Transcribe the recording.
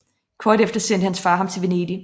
Kort efter sendte hans far ham til Venedig